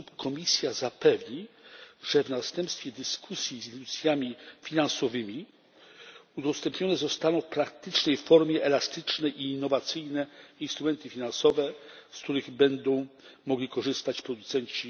sposób Komisja zapewni, że w następstwie dyskusji z instytucjami finansowymi udostępnione zostaną w praktycznej formie elastyczne i innowacyjne instrumenty finansowe, z których będą mogli korzystać producenci?